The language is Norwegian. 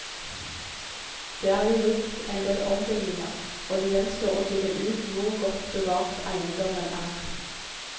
Det er jo gjort en del ombygninger og det gjenstår å finne ut hvor godt bevart eiendommen er.